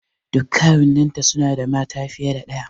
Duk kawunnan ta suna da mata fiye da ɗaya.